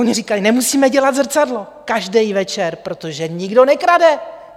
Oni říkají: Nemusíme dělat zrcadlo každý večer, protože nikdo nekrade.